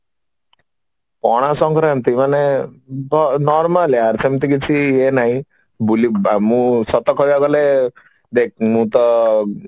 ପଣା ସଙ୍କ୍ରାନ୍ତି ମାନେ ସେମିତି କିଛି ହୁଏ ନାହି ବୁଲି ମୁଁ ସତ କହିବାକୁ ଗଲେ ଦେଖ୍ ମୁଁ ତ